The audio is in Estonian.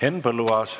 Henn Põlluaas.